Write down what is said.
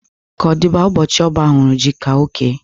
Ka ọ dịba, ụbọchị ọbá hụrụ ji ka ọ kee.